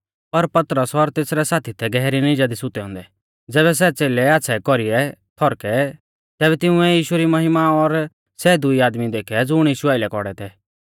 पर पतरस और तेसरै साथी थै गहरी निजा दी सुतै औन्दै ज़ैबै सै च़ेलै आच़्छ़ै कौरीऐ थौरकै तैबै तिंउऐ यीशु री महिमा और सै दुई आदमी देखै ज़ुण यीशु आइलै खौड़ै थै